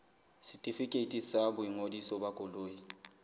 setefikeiti sa boingodiso ba koloi